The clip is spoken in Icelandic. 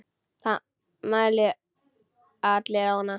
Það mæna allir á hana.